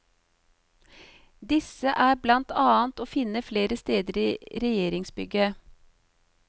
Disse er blant annet å finne flere steder i regjeringsbygget.